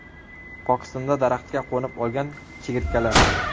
Pokistonda daraxtga qo‘nib olgan chigirtkalar.